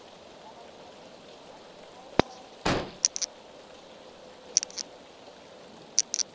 abantu baseningizimu afrika